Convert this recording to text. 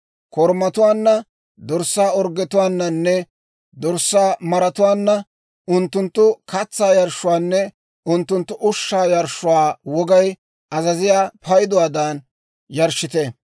Korumatuwaanna, dorssaa orggetuwaananne dorssaa maratuwaanna, unttunttu katsaa yarshshuwaanne unttunttu ushshaa yarshshuwaa wogay azaziyaa payduwaadan yarshshite.